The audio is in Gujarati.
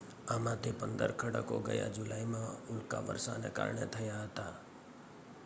આમાંથી પંદર ખડકો ગયા જુલાઈમાં ઉલ્કાવર્ષાને કારણે થયા હતા